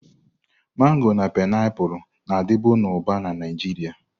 Mango na painiapulu, na-adịbu na Uba na Naịjirịa.